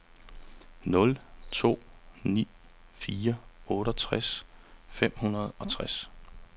nul to ni fire otteogtres fem hundrede og tres